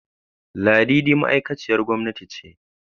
Ladidi ma'aikaciyar gwamnati ce.